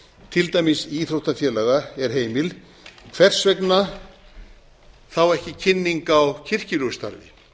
til dæmis íþróttafélaga er heimil hvers vegna þá ekki kynning á kirkjulegu starfi